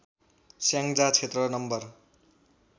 स्याङजा क्षेत्र नम्बर